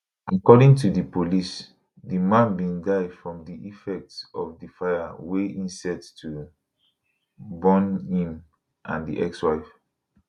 according to di police di man bin die from di effect of di fire wey e set to burn im and di ex wife